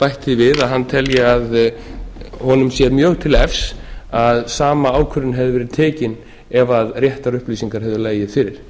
bætt því við hann telji að honum sé mjög til efs að sama ákvörðun hefði verið tekin ef réttar upplýsingar hefðu legið fyrir